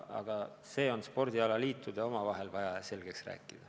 Aga spordialaliitudel tuleks see omavahel selgeks rääkida.